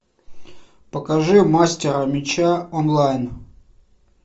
покажи мастера меча онлайн